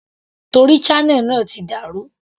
Torí channel náà ti dà rú.